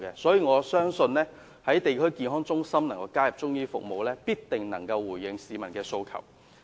所以，我相信在地區康健中心加入中醫服務，必定能夠回應市民的訴求。